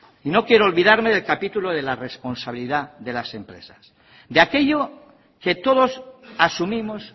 no quiero olvidarme del capítulo de la responsabilidad de las empresas de aquello que todos asumimos